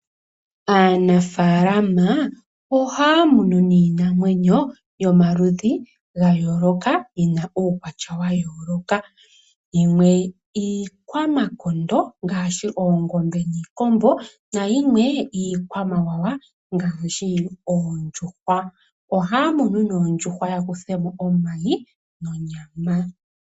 Aanafalama ohaamunu niinamwenyo yomaludhi gayooloka, yina uukwatya wayooloka. Yimwe iikwamakondo ngaashi oongobe, niikombo yimwe iikwamawawa ngaashi oondjuhwa. Ohaamunu noondjuhwa yakuthemo omayi nonyama.